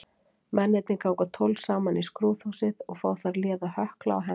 Mennirnir ganga tólf saman í skrúðhúsið og fá þar léða hökla og hempur.